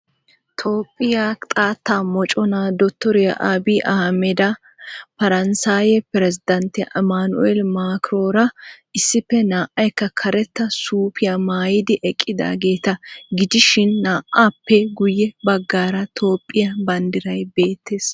Toophphiya xaatta mocconaa dotoriya Abiy Ahimadi, Paranssayee pirezzidanttiya Emanuel Makiroora issippe naa'aaykka karettaa suufiya maayidi eqqidaageeta gidishin naa'aappee guye bagaara toophphiya banddiray beettees.